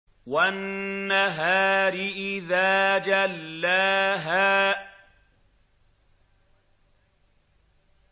وَالنَّهَارِ إِذَا جَلَّاهَا